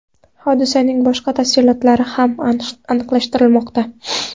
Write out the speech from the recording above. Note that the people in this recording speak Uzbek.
Hodisaning boshqa tafsilotlari ham aniqlashtirilmoqda.